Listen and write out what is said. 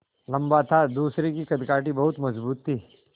लम्बा था दूसरे की कदकाठी बहुत मज़बूत थी